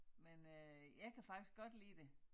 Men øh jeg kan faktisk godt lide det